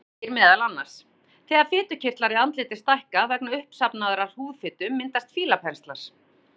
Þar segir meðal annars: Þegar fitukirtlar í andliti stækka vegna uppsafnaðrar húðfitu myndast fílapenslar.